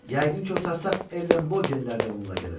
Yəqin ki, o sarsaq Ellen Bogenlər də onunla gələcək.